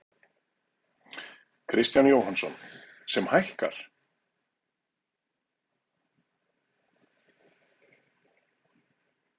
Kristján Jóhannesson: Sem hækkar?